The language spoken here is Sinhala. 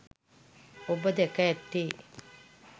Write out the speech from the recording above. ඔබ දැක ඇත්තේ